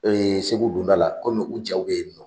Segu donda la komi u cɛw bɛ yen nɔ